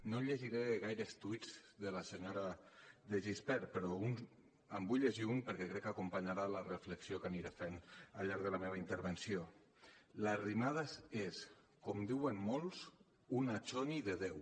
no llegiré gaires tuits de la senyora de gispert però en vull llegir un perquè crec que acompanyarà la reflexió que aniré fent al llarg de la meva intervenció l’arrimadas és com diuen molts una choni de deu